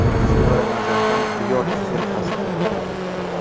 Sevara Nazarxon Byork qiyofasida.